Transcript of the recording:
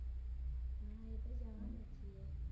હા એતો જવાનું જ છીએ